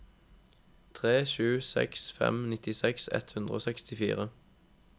tre sju seks fem nittiseks ett hundre og sekstifire